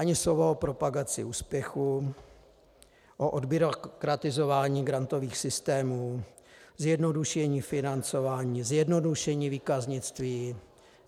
Ani slovo o propagaci úspěchů, o odbyrokratizování grantových systémů, zjednodušení financování, zjednodušení výkaznictví.